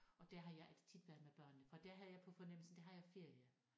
Og der har jeg tit været med børnene for der har jeg på fornemmelsen der har jeg ferie